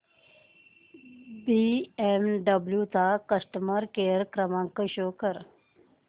BMW चा customer care क्रमांक show कर